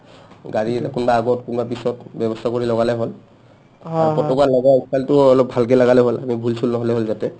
গাড়ীৰ কোনোবাই আগত কোনোবাই পিছত ব্যবস্থা কৰি লগালে হ'ল পতকা লগোৱাৰ ফালটো ভালকে লগালে হ'ল ভূল- চূল নহ'লে হ'ল যাতে